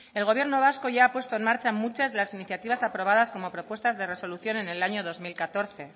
el gobierno vasco ya ha puesto en marcha muchas de las iniciativas aprobadas como propuestas de resolución en el año dos mil catorce